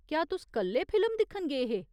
क्या तुस कले फिल्म दिक्खन गे हे ?